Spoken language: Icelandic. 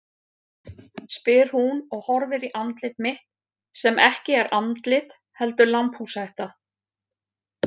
spyr hún og horfir í andlit mitt sem ekki er andlit heldur lambhúshetta.